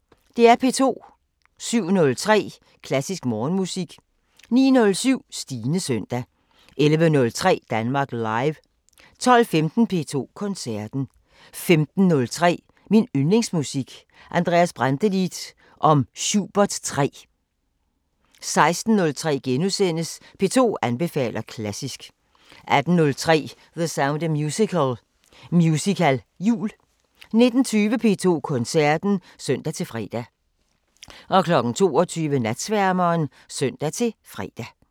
07:03: Klassisk Morgenmusik 09:07: Stines søndag 11:03: Danmark Live 12:15: P2 Koncerten 15:03: Min yndlingsmusik: Andreas Brantelid om Schubert 3 16:03: P2 anbefaler klassisk * 18:03: The Sound of Musical: Musicaljul 19:20: P2 Koncerten (søn-fre) 22:00: Natsværmeren (søn-fre)